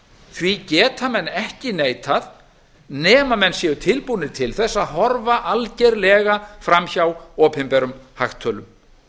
því geta menn ekki neitað nema menn séu tilbúnir til þess að horfa algerlega fram hjá opinberum hagtölum